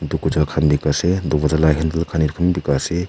Etu gujal khan ase dowarja la handle khan etu khan bi beka ase.